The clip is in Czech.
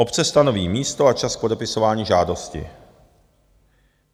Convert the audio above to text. Obce stanoví místo a čas k podepisování žádosti.